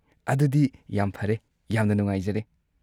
ꯑꯗꯨꯗꯤ ꯌꯥꯝ ꯐꯔꯦ! ꯌꯥꯝꯅ ꯅꯨꯡꯉꯥꯏꯖꯔꯦ꯫